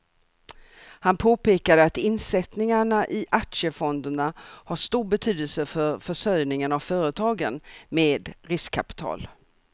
Han påpekade att insättningarna i aktiefonderna har stor betydelse för försörjningen av företagen med riskkapital.